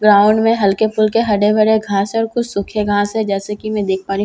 Ground में हल्के फुल्के हरे भरे घास है और कुछ सूखे घास हैं जैसे कि मैं देख पा रही हूं।